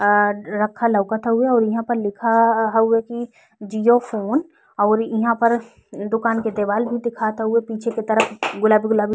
आ रखल लउकत हुए और इहाँ पे लिखा हउए की जिओ फ़ोन और इहाँ पर दुकान के दिलवाल भी लउकत हुए पीछे के तरफ गुलाबी गुलाबी।